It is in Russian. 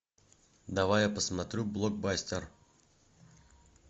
давай я посмотрю блокбастер